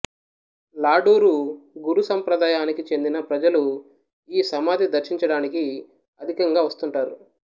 లాడూలు గురు సంప్రదాయానికి చెందిన ప్రజలు ఈ సమాధి దర్శించడానికి అధికంగా వస్తుంటారు